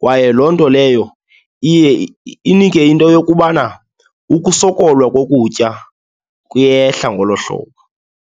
kwaye loo nto leyo iye inike into yokubana ukusokola kokutya kuyehla ngolo hlobo.